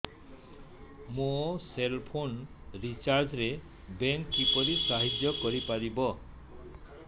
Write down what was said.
ମୋ cell phone recharge ରେ bank କିପରି ସାହାଯ୍ୟ କରିପାରିବ